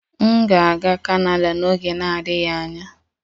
M ga-aga kanada n'oge na-adịghị anya